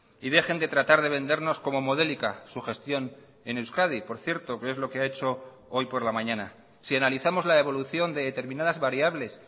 y dejen de tratar de vendernos como modélica su gestión en euskadi por cierto que es lo que ha hecho hoy por la mañana sí analizamos la evolución de determinadas variables